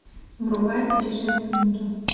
врубай путешественники